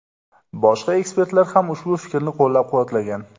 Boshqa ekspertlar ham ushbu fikrni qo‘llab-quvvatlagan.